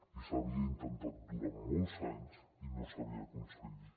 i s’havia intentat durant molts anys i no s’havia aconseguit